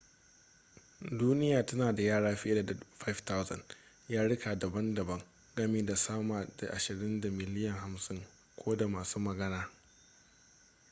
duniya tana da yare fiye da 5,000 yaruka dabam-dabam gami da sama da ashirin da miliyan 50 ko da masu magana